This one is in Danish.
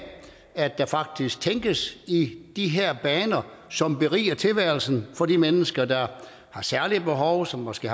at der faktisk tænkes i de her baner som beriger tilværelsen for de mennesker der har særlige behov og som måske